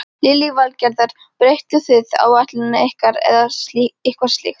Lillý Valgerður: Breyttuð þið áætlun ykkar eða eitthvað slíkt?